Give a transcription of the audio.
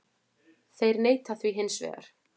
Þeir neita því hins vegar